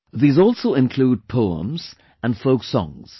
These also include poems and folk songs